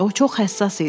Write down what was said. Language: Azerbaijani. O çox həssas idi.